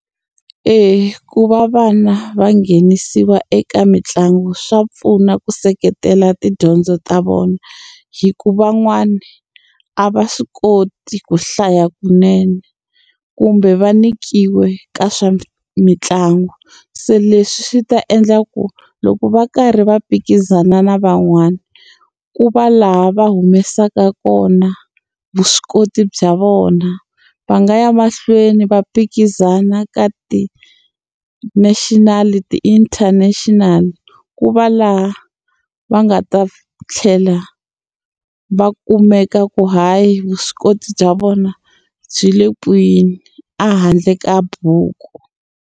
Eya ku va vana va nghenisiwa eka mitlangu swa pfuna ku seketela tidyondzo ta vona hikuva van'wana a va swi koti ku hlaya kunene kumbe va nyikiwe ka swa mitlangu se leswi swi ta endla ku loko va karhi va phikizana na van'wana ku va laha va humesaka kona vuswikoti bya vona va nga ya mahlweni va phikizana ka ti-national ti-international ku va laha va nga ta tlhela va kumeka ku hayi vuswikoti bya vona byi le kwini a handle ka buku.